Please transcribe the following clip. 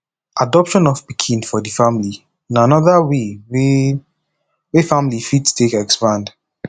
adoption of pikin for di family na anoda way wey wey family fit take expand